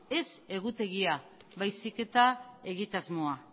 ez egutegia baizik eta egitasmoa